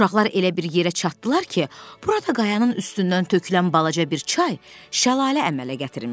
Uşaqlar elə bir yerə çatdılar ki, burada qayanın üstündən tökülən balaca bir çay şəlalə əmələ gətirmişdi.